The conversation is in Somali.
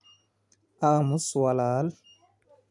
Aamus wiil.